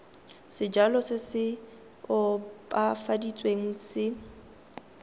sejalo se se opafaditsweng se